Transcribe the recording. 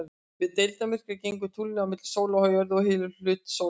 Við deildarmyrkva gengur tunglið á milli sólar og jörðu og hylur hluta sólarinnar.